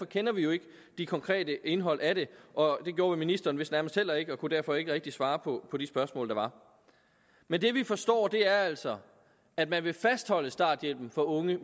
kender vi jo ikke det konkrete indhold af det og det gjorde ministeren vist nærmest heller ikke og kunne derfor ikke rigtig svare på på de spørgsmål der var men det vi forstår er altså at man vil fastholde starthjælpen for unge